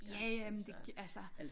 Ja ja men det altså